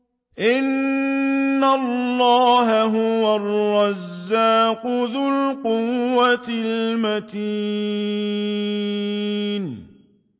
إِنَّ اللَّهَ هُوَ الرَّزَّاقُ ذُو الْقُوَّةِ الْمَتِينُ